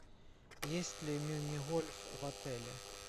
есть ли мини гольф в отеле